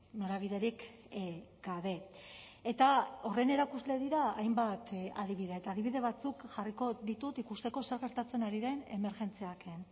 norabiderik gabe eta horren erakusle dira hainbat adibide eta adibide batzuk jarriko ditut ikusteko zer gertatzen ari den emergentziak en